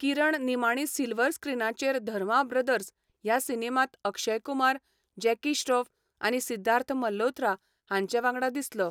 किरण निमाणी सिल्वर स्क्रीनाचेर धर्मा ब्रदर्स ह्या सिनेमांत अक्षय कुमार, जॅकी श्रॉफ आनी सिद्धार्थ मल्होत्रा हांचे वांगडा दिसलो.